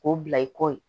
K'o bila i kɔ